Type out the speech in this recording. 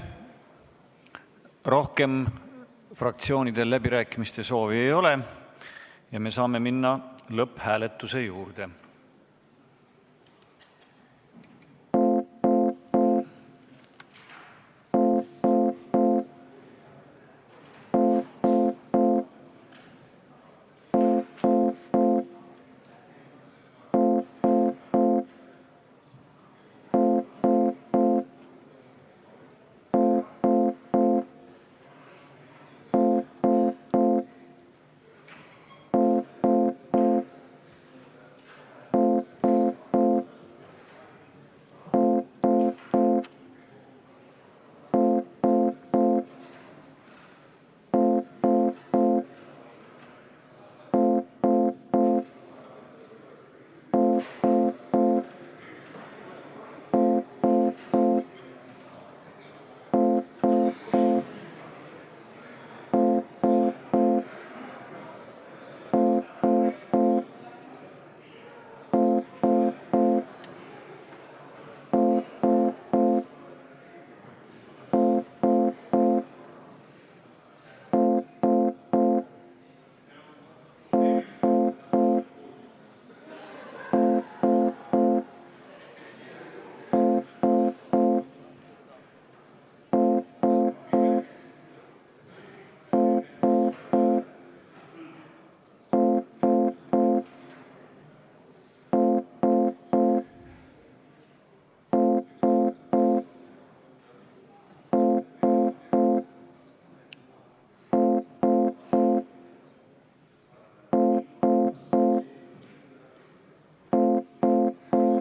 Rohkem fraktsioonidel läbirääkimiste soovi ei ole ja me saame minna lõpphääletuse juurde.